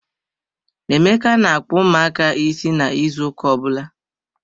Emeka na-akpu ụmụaka is na ịzụ ụka ọbụla.